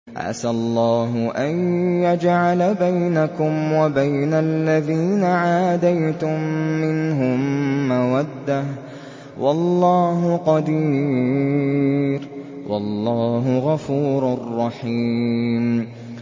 ۞ عَسَى اللَّهُ أَن يَجْعَلَ بَيْنَكُمْ وَبَيْنَ الَّذِينَ عَادَيْتُم مِّنْهُم مَّوَدَّةً ۚ وَاللَّهُ قَدِيرٌ ۚ وَاللَّهُ غَفُورٌ رَّحِيمٌ